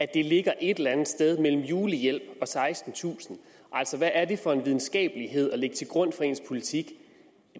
det ligger et eller andet sted mellem julehjælp og sekstentusind altså hvad er det for en videnskabelighed at lægge til grund for ens politik